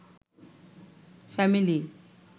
family